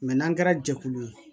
n'an kɛra jɛkulu ye